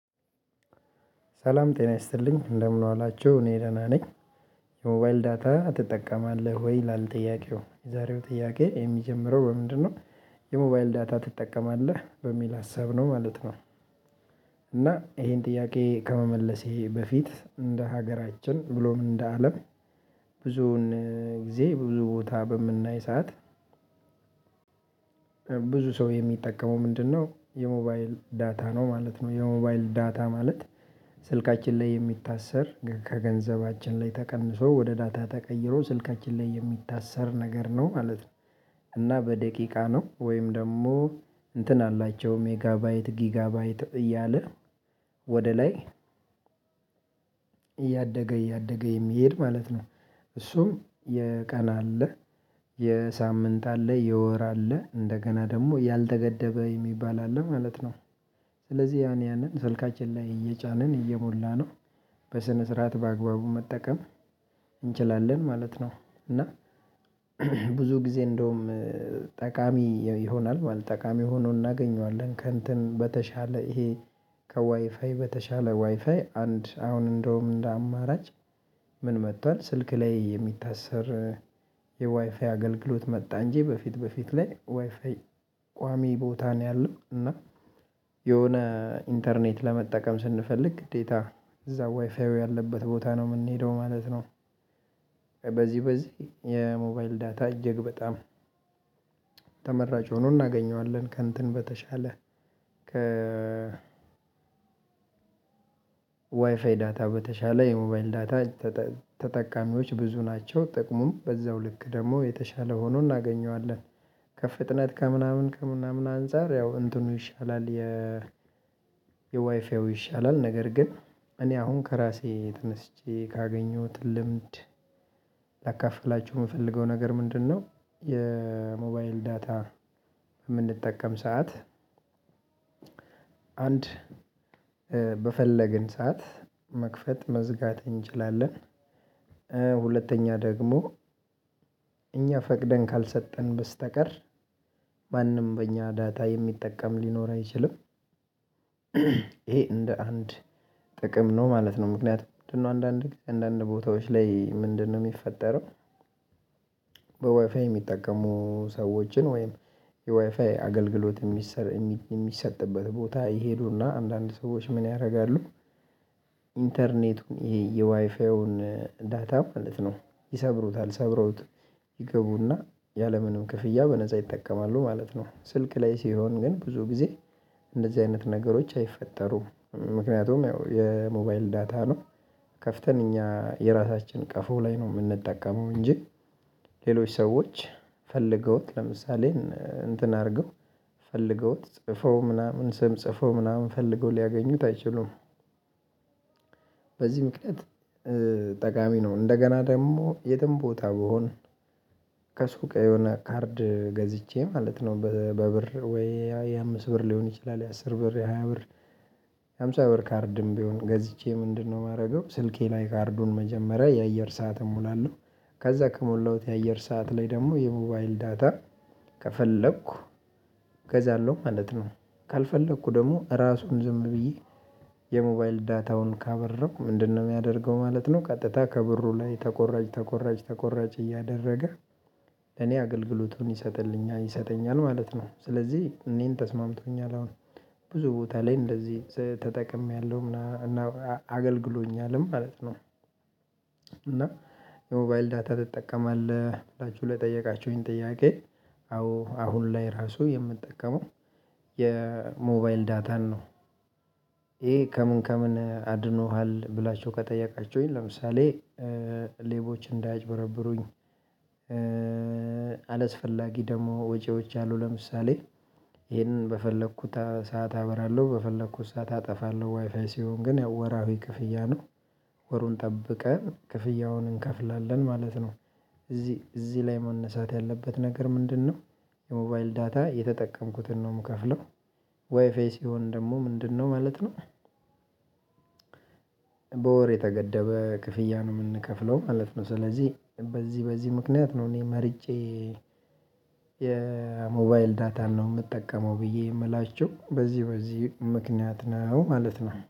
ሰላም ጤና ይስጥልኝ እንደምን ዋላቸው እኔ ደህና ነኝ። የሞባይል ዳታ ትጠቀማለህ ወይ ይላልጥያቄው የዛሬው ጥያቄ የሚጀምረው በምንድነው? የሞባይል ዳታ ትጠቀማለህ በሚል ሀሳብ ነው ማለት ነው። እና ይሄን ጥያቄ ከመመለሴ በፊት እንደ ሀገራችን ብሎም እንደ አለም ብዙውን ጊዜ ብዙ ቦታ በምናይ ሰዓት። ሰው የሚጠቀመው ምንድ ነው የሞባይል ዳታ ነው ማለት ነው የሞባይል ዳታ ማለት። ስልካችን ላይ የሚታሰር ከገንዘባችን ላይ ተቀንሶ ወደ ዳታ ተቀይሮ ስልካችን ላይ የሚታሰር ነገር ነው ማለት ነው። እና በደቂቃ ነው ወይም ደግሞ እንትን አላቸው ሜጋባይት ጊጋባይት እያለ ወደ ላይ እያደገ እያደገ የሚሄድ ማለት ነው። እሱም የቀና አለ የሳምንት አለ የወር አለ እንደገና ደግሞ ያልተገደበ የሚባል አለ ማለት ነው። ስለዚህ ያን ያንን ስልካችን ላይ እየጫንን እየሞላነው በስነ ስርዓት በአግባቡ መጠቀም እንችላለን ማለት ነው እና። ብዙ ጊዜ እንደውም ጠቃሚ ይሆናል ማለት ጠቃሚ ሆኖ እናገኘዋለን ከእንትን በተሻለ ይሄ ከዋይፋይ በተሻለ ዋይፋይ አንድ አሁን እንደውም እንደ አማራጭ። ምን መጥቷል ስልክ ላይ የሚታሰር የዋይፋይ አገልግሎት መጣ እንጂ በፊት በፊት ላይ ዋይፋይ ቋሚ ቦታ ነው ያለው እና የሆነ ኢንተርኔት ለመጠቀም ስንፈልግ ግዴታ እዛ ዋይፋይው ያለበት ቦታ ነው የምንሄደው ማለት ነው። በዚህ በዚህ የሞባይል ዳታ እጅግ በጣም ተመራጭ ሆኖ እናገኘዋለን ከእንትን በተሻለ ዋይፋይ ዳታ በተሻለ የሞባይል ዳታ። ተጠቃሚዎች ብዙ ናቸው ጥቅሙም በዛው ልክ ደግሞ የተሻለ ሆኖ እናገኘዋለን ከፍጥነት ከምናምን ከምናምን አንፃር ያው እንትኑ ይሻላል የ የዋይፋው ይሻላል ነገር ግን እኔ አሁን ከራሴ ተነስቼ ካገኘሁት ልምድ ላካፍላችሁ የምፈልገው ነገር ምንድነው የሞባይል ዳታ። የምንጠቀም ሰዓት አንድ በፈለግን ሰዓት መክፈት መዝጋት እንችላለን። ሁለተኛ ደግሞ እኛ ፈቅደን ካልሰጠን በስተቀር በእኛ ዳታ የሚጠቀም ሊኖር አይችልም። ይሄ እንደ አንድ ጥቅም ነው ማለት ነው ምክንያቱም ምንድ ነው አንዳንቀን አንዳንድ ቦታዎች ላይ ምንድነው የሚፈጠረው? የሚጠቀሙ ሰዎችን ወይም የዋይፋይ አገልግሎት የሚሰጥበት ቦታ ይሄዱና አንዳንድ ሰዎች ምን ያደረጋሉ ኢንተርኔቱን ይሄ የዋይፋውን ዳታ ማለት ነው ይሰብሩታል ሰብረውት ይገቡና ያለምንም ክፍያ በነፃ ይጠቀማሉ ማለት ነው። ስልክ ላይ ሲሆን ግን ብዙ ጊዜ እንደዚህ አይነት ነገሮች አይፈጠሩም ምክንያቱም ያው የሞባይል ዳታ ነው ከፍተን እኛ የራሳችን ቀፎ ላይ ነው የምንጠቀመው እንጂ ሌሎች ሰዎች ፈልገውት ለምሳሌ እንትን አድርገው ፈልገውት ጽፈው ምናምን ስም ጽፈው ምናምን ፈልገው ሊያገኙት አይችሉም። በዚህ ምክንያት ጠቃሚ ነው እንደገና ደግሞ የትም ቦታ ቢሆን ከሱቅ የሆነ ካርድ ገዝቼ ማለት ነው በብር ወይ ያ አምስት ብር ሊሆን ይችላል የአስር ብር የሃያ ብር የሃምሳ ብር ካርድም ቢሆን ገዝቼ ምንድነው የማደርገው ስልኬ ላይ ካርዱን መጀመሪያ የአየር ሰዓትም እምላለሁ ከዛ ከሞላሁት የአየር ሰዓት ላይ ደግሞ የሞባይል ዳታ ከፈለኩ ገዛለሁ ማለት ነው። ካልፈለኩ ደግሞ እራሱን ዝም ብዬ የሞባይል ዳታውን ካበራሁ ምንድነው የሚያደርገው ማለት ነው ቀጥታ ከብሩ ላይ ተቆራጭ ተቆራጭ ተቆራጭ እያደረገ ለኔ አገልግሎቱን ይሰጥልኛል ይሰጠኛል ማለት ነው ስለዚህ እኔን ተስማምቶኛል አሁን ብዙ ቦታ ላይ እንደዚህ ተጠቅሜያለሁ እና አገልግሎኛልም ማለት ነው። እና የሞባይል ዳታ ትጠቀማለህ ብላችሁ ለጠየቃችሁኝ ጥያቄ አዎ አሁን ላይ ራሱ የምንጠቀመው የሞባይል ዳታን ነው። ይሄ ከምን ከምን አድኖሃል ብላችሁ ከጠየቃችሁኝ ለምሳሌ ሌቦች እንዳያጭበረብሩኝ አለስፈላጊ ደግሞ ወጪዎች አሉ ለምሳሌ ይሄንን በፈለኩት ሰዓት አበራለሁ በፈለኩት ሰዓት አጠፋለሁ ዋይፋይ ሲሆን ግን ያው ወራዊ ክፍያ ነው። ወሩን ጠብቀን ክፍያውን እንከፍላለን ማለት ነው። እዚህ እዚህ ላይ መነሳት ያለበት ነገር ምንድ ነው? የሞባይል ዳታ የተጠቀምኩትን ነው የምከፍለው ዋይፋይ ሲሆን ደግሞ ምንድነው ማለት ነው በወር የተገደበ ክፍያ ነው የምንከፍለው ማለት ነው። ስለዚህ በዚህ በዚህ ምክንያት ነው እኔ መርጫ የሞባይል ዳታን ነው የምጠቀመው ብዬ የምላቸው በዚህ በዚህ ምክንያት ነው ማለት ነው